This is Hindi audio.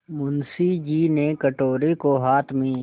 मुंशी जी ने कटोरे को हाथ में